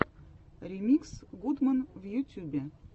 ремикс гудман в ютюбе